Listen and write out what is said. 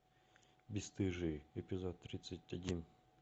бесстыжие эпизод тридцать один